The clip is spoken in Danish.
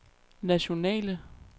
nationale